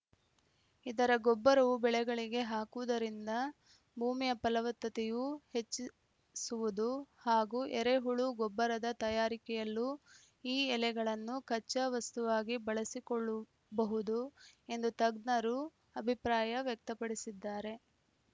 ಇದರ ಗೊಬ್ಬರವು ಬೆಳೆಗಳಿಗೆ ಹಾಕುವುದರಿಂದ ಭೂಮಿಯ ಫಲವತ್ತತೆಯೂ ಹೆಚ್ಚಿಸುವುದು ಹಾಗೂ ಎರೆಹುಳು ಗೊಬ್ಬರದ ತಯಾರಿಕೆಯಲ್ಲೂ ಈ ಎಲೆಗಳನ್ನು ಕಚ್ಚಾವಸ್ತುವಾಗಿ ಬಳಸಿಕೊಳ್ಳುಬಹುದು ಎಂದು ತಜ್ಞರು ಅಭಿಪ್ರಾಯ ವ್ಯಕ್ತಪಡಿಸಿದ್ದಾರೆ